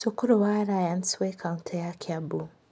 Cukuru wa Alliance wĩ kautĩ ya Kiambu